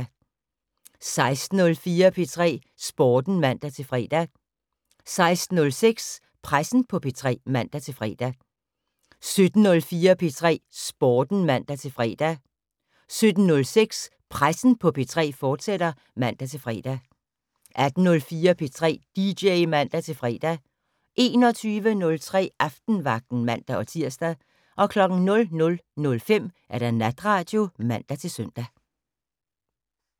16:04: P3 Sporten (man-fre) 16:06: Pressen på P3 (man-fre) 17:04: P3 Sporten (man-fre) 17:06: Pressen på P3, fortsat (man-fre) 18:04: P3 dj (man-fre) 21:03: Aftenvagten (man-tir) 00:05: Natradio (man-søn)